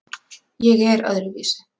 Ég er öðruvísi.